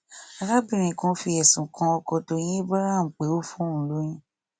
arábìnrin kan fi ẹsùn kan ọkọ tọyìn abraham pé ó fún òun lóyún